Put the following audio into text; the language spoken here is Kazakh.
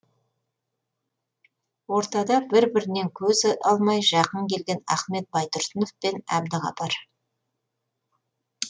ортада бір бірінен көз алмай жақын келген ахмет байтұрсынов пен әбдіғапар